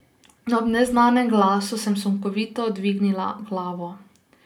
Ob neznanem glasu sem sunkovito dvignila glavo.